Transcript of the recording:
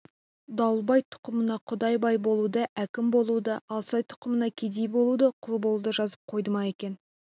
дауылбай тұқымына құдай бай болуды әкім болуды алсай тұқымына кедей болуды құл болуды жазып қойды ма екен